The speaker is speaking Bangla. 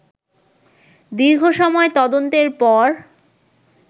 দীর্ঘসময় তদন্তের পর